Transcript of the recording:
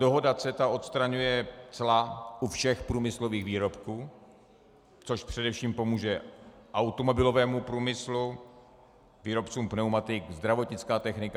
Dohoda CETA odstraňuje cla u všech průmyslových výrobků, což především pomůže automobilovému průmyslu, výrobcům pneumatik, zdravotnické techniky.